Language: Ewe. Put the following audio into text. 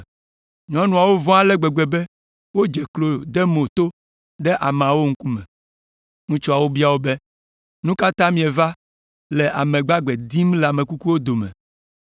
Nyɔnuawo vɔ̃ ale gbegbe be wodze klo de mo to ɖe ameawo ŋkume. Ŋutsuawo bia wo be, “Nu ka ta mieva le ame gbagbe dim le ame kukuwo dome?